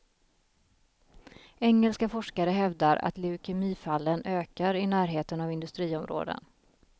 Engelska forskare hävdar att leukemifallen ökar i närheten av industriområden.